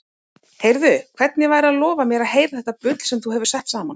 Heyrðu, hvernig væri að lofa mér að heyra þetta bull sem þú hefur sett saman?